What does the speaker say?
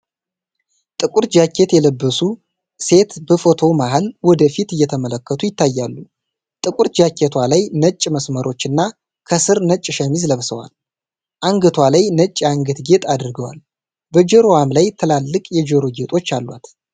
ጥቁር ጃኬት የለበሱ ሴት በፎቶው መሃል ወደ ፊት እየተመለከቱ ይታያሉ። ጥቁር ጃኬቷ ላይ ነጭ መስመሮች እና ከስር ነጭ ሸሚዝ ለብሰዋል። አንገቷ ላይ ነጭ የአንገት ጌጥ አድርገዋል፤ በጆሮዋም ላይ ትላልቅ የጆሮ ጌጦች አሏት።